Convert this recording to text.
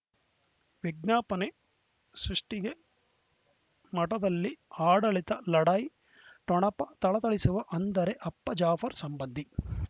ವಿಜ್ಞಾಪನೆ ಸೃಷ್ಟಿಗೆ ಮಠದಲ್ಲಿ ಆಡಳಿತ ಲಢಾಯಿ ಠೊಣಪ ಥಳಥಳಿಸುವ ಅಂದರೆ ಅಪ್ಪ ಜಾಫರ್ ಸಂಬಂಧಿ